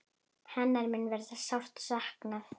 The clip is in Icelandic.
Hennar mun verða sárt saknað.